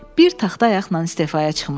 Bir taxta ayaqla istefaya çıxmışdı.